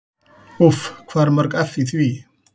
Úff hvað eru mörg eff í því?